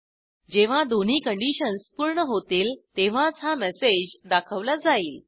जेव्हा दोन्ही कंडिशन्स पूर्ण होतील तेव्हाच हा मेसेज दाखवला जाईल